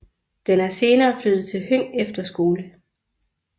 Den er senere flyttet til Høng Efterskole